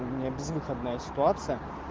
у меня безвыходная ситуация